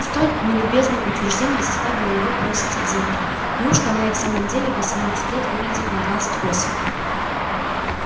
столь нелюбезное утверждение заставило его броситься к зеркалу неужто она и в самом деле в восемнадцать лет выглядит на двадцать восемь